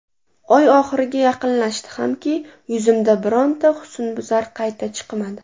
Oy oxiriga yaqinlashdi hamki, yuzimda bironta husnbuzar qayta chiqmadi.